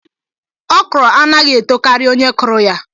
Ọkrọ anaghị etokari onye kụrụ ya.